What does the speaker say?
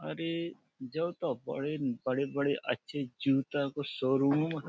अरे जों तो बड़ीन बड़े बड़े अच्छे जूता को शोरूम --